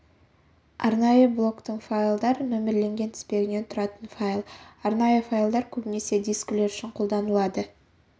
арнайы блоктың файлдар нөмірленген тізбегінен тұратын файл арнайы файлдар көбінесе дискілер үшін қолданылады символдық